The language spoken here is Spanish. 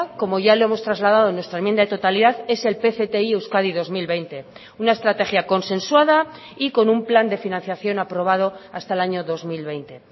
como ya lo hemos trasladado en nuestra enmienda de totalidad es el pcti euskadi dos mil veinte una estrategia consensuada y con un plan de financiación aprobado hasta el año dos mil veinte